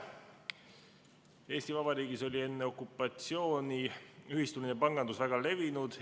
Eesti Vabariigis oli enne okupatsiooni ühistuline pangandus väga levinud.